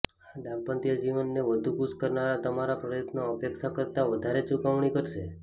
દાંપત્ય જીવનને વધુ ખુશ કરવાના તમારા પ્રયત્નો અપેક્ષા કરતા વધારે ચૂકવણી કરશે